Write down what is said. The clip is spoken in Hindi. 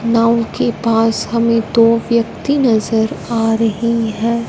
नांव के पास हमे दो व्यक्ती नज़र आ रहे है।